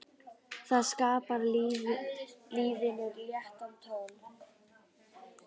Það skapar lífinu léttan tón.